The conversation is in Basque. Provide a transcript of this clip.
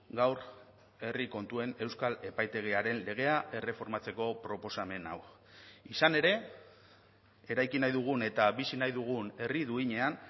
gaur herri kontuen euskal epaitegiaren legea erreformatzeko proposamen hau izan ere eraiki nahi dugun eta bizi nahi dugun herri duinean